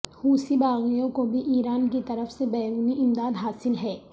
حوثی باغیوں کو بھی ایران کی طرف سے بیرونی امداد حاصل ہے